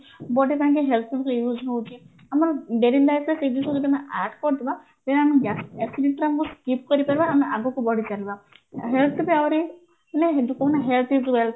ଗୋଟେ time ରେ use ହଉଛି ଆମର daily lifeରେ ସେଇ ଜିନିଷ ଯଦି ଆମେ add କରିଦବା ତେବେ ଆମେ acidity ର ଆମେ skip କରିଦବା ଆମେ ଆଗକୁ ବଢିଚାଲିବା health is wealth